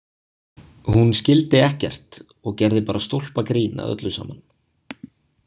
Hún skildi ekkert og gerði bara stólpagrín að öllu saman.